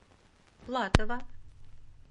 платова